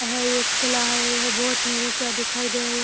यह एक किला है। यह बहुत ही ऊँचा दिखाई दे रहा है | यहाँ --